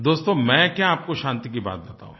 दोस्तो मैं क्या आपको शांति की बात बताऊँ